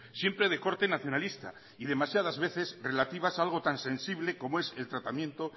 siempre de corte nacionalista y demasiadas veces relativas a algo tan sensible como es el tratamiento